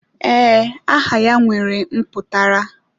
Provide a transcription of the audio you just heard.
Ee, aha ya nwere mputara.